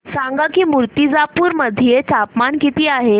सांगा की मुर्तिजापूर मध्ये तापमान किती आहे